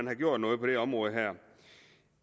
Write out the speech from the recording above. er gjort noget på det område her